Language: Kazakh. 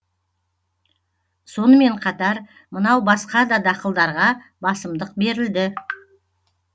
сонымен қатар мынау басқа да дақылдарға басымдық берілді